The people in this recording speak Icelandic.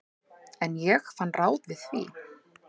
En ég fann ráð við því.